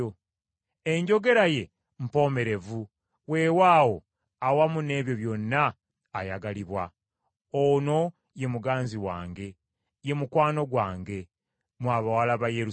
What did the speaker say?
Enjogera ye mpomerevu, weewaawo awamu n’ebyo byonna ayagalibwa. Ono ye muganzi wange, ye mukwano gwange; mmwe abawala ba Yerusaalemi.